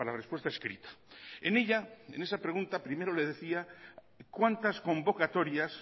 respuesta escrita en ella en esa pregunta primero le decía cuántas convocatorias